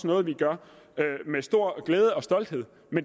noget vi gør med stor glæde og stolthed